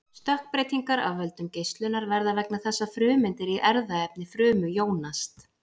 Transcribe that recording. stökkbreytingar af völdum geislunar verða vegna þess að frumeindir í erfðaefni frumu jónast